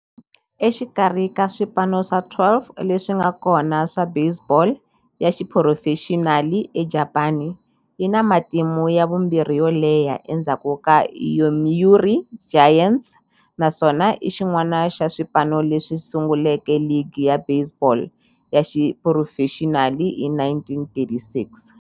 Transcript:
Exikarhi ka swipano swa 12 leswi nga kona swa baseball ya xiphurofexinali eJapani, yi na matimu ya vumbirhi yo leha endzhaku ka Yomiuri Giants, naswona i xin'wana xa swipano leswi sunguleke ligi ya baseball ya xiphurofexinali hi 1936.